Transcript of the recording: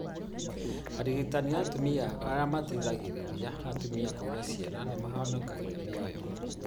Arigitani na atumia arĩa mateithagĩrĩria atumia kũgĩa ciana nĩ mahonokagia mĩoyo.